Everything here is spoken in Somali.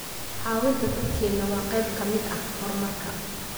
Caawinta dadkeena waa qayb ka mid ah horumarka.